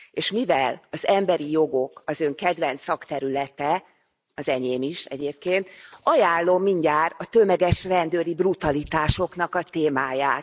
És mivel az emberi jogok az Ön kedvenc szakterülete az enyém is egyébként ajánlom mindjárt a tömeges rendőri brutalitásoknak a témáját.